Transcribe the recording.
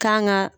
Kan ga